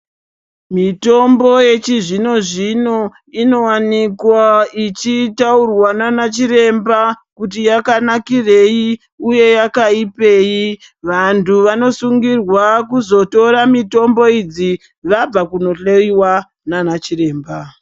Mitombo yechizvino zvino inowanikwa ichitaurwa nana chiremba kuti yakanakirei uye yakaipirei vantu vanosungirwa kuzotora mitombo idzi vabva kuzohloiwa nana chiremba.